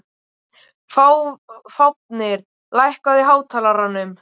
Fáfnir, lækkaðu í hátalaranum.